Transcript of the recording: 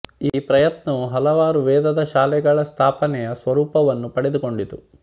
ಈ ಪ್ರಯತ್ನವು ಹಲವಾರು ವೇದದ ಶಾಲೆಗಳ ಸ್ಥಾಪನೆಯ ಸ್ವರೂಪವನ್ನು ಪಡೆದುಕೊಂಡಿತು